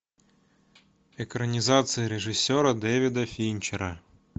экранизация режиссера дэвида финчера